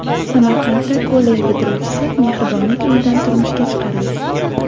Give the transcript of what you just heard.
Samarqandda kollej bitiruvchisi mehribonlik uyidan turmushga chiqarildi .